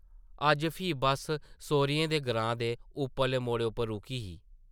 अज्ज फ्ही बस्स सौह्रियें दे ग्रां दे उप्परले मोड़ै उप्पर रुकी ही ।